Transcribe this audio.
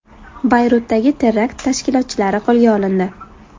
Bayrutdagi terakt tashkilotchilari qo‘lga olindi.